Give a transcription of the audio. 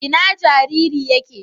Ina jariri yake?